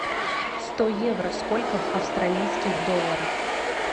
сто евро сколько в австралийских долларах